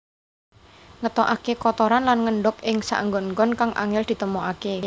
Ngetokaké kotoran lan ngendhog ing saenggon enggon kang angél ditemokaké